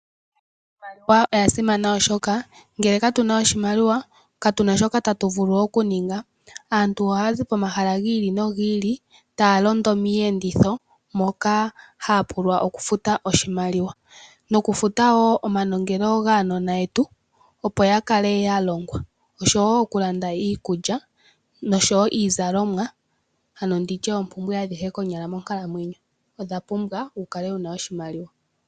Iimaliwa oya simana oshoka ngele katu na iimaliwa katu na shoka tatu vulu okuninga. Aantu ohaya zi pomahala gi ili nogi ili taa londo miiyenditho moka haya pulwa okufuta oshimaliwa nokufuta wo omanongelo gaanona yetu, opo ya kale ya longwa, okulanda iikulya noshowo iizalomwa, ano ndi tye oompumbwe adhihe konyala monkalamwenyo odha pumbwa wu kale wu na oshimaliwa.